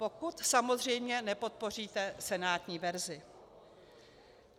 Pokud samozřejmě nepodpoříte senátní verzi.